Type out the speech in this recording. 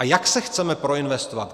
A jak se chceme proinvestovat?